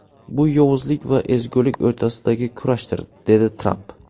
Bu yovuzlik va ezgulik o‘rtasidagi kurashdir”, dedi Tramp.